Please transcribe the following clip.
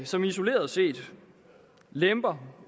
som isoleret set lemper